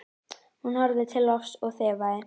Hún horfði til lofts og þefaði.